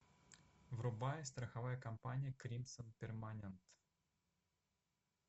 врубай страховая компания кримсон перманент